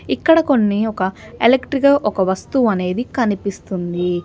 ఇక్కడ కొన్ని ఒక ఎలక్ట్రిక్ గా ఒక వస్తువు అనేది కనిపిస్తుంది.